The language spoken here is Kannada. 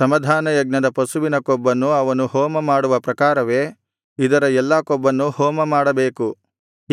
ಸಮಾಧಾನಯಜ್ಞದ ಪಶುವಿನ ಕೊಬ್ಬನ್ನು ಅವನು ಹೋಮಮಾಡುವ ಪ್ರಕಾರವೇ ಇದರ ಎಲ್ಲಾ ಕೊಬ್ಬನ್ನು ಹೋಮಮಾಡಬೇಕು